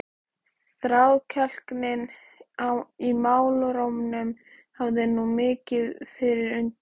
Þrákelknin í málrómnum hafði nú vikið fyrir undrun.